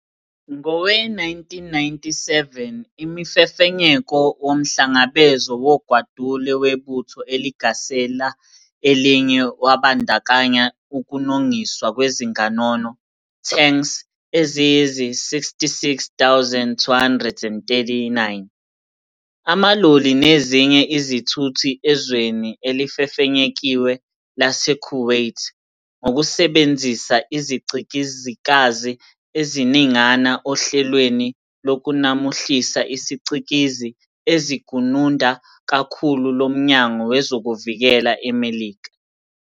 Ngowe-1997, Imifefenyeko womhlangabezo wogwadule webutho eligasela elinye wabandakanya ukunongiswa kwezinganono "tanks" eziyizi-66,239, amaloli nezinye izithuthi ezweni elifefenyekiwe lase-Kuwait, ngokusebenzisa izicikizikazi eziningana oHlelweni lokuNamuhlisa isiCikizi eziGununda Kakhulu loMnyango wezokuVikela eMelika.